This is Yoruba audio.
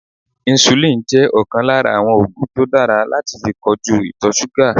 Insulin jẹ́ ọ̀kan lára àwọn ògùn tó dára láti fi kojú ìtọ̀súgà